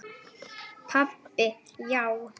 Pabbi, já!